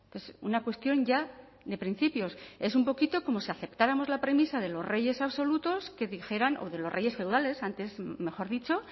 es una cuestión ya de principios es un poquito como si aceptáramos la premisa de los reyes absolutos que dijeran o de los reyes feudales antes mejor dicho